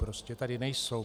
Prostě tady nejsou.